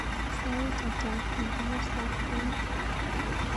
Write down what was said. Sait ata eng komstab kwen?